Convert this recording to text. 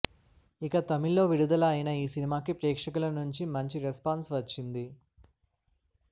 ఇక తమిళ్ లో విడుదల అయిన ఈ సినిమాకి ప్రేక్షకుల నుండి మంచి రెస్పాన్స్ వచ్చింది